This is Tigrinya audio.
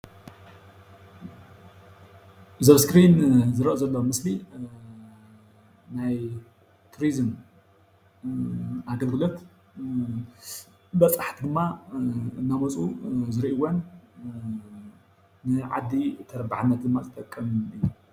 እዚ ኣብ እስክሪን ዝረአ ዘሎ ምስሊ ናይ ቱሪዝም ኣገልግሎት በፃሕቲ ድማ እናመፁ ዝሪእዎን ንዓዲ ተረባሕነት ድማ ዝጠቅምን እዩ፡፡